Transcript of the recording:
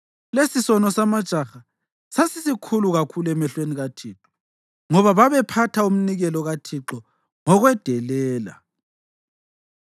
Lesisono samajaha sasisikhulu kakhulu emehlweni kaThixo, ngoba babephatha umnikelo kaThixo ngokwedelela.